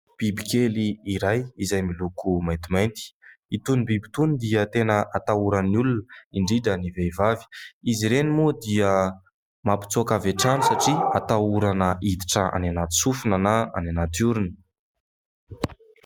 Biby kely iray izay miloko maintimainty. Itony biby itony dia tena atahoran'ny olona, indrindra ny vehivavy. Izy ireny moa dia mampitsoaka avy hatrany satria atahorana hiditra any anaty sofina na any anaty orona.